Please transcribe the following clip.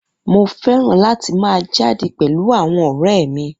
Mo fẹ́ràn láti máa jáde pẹ̀lú àwọn ọ̀rẹ́ mi